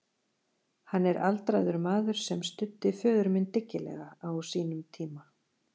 Hann er aldraður maður sem studdi föður minn dyggilega á sínum tíma.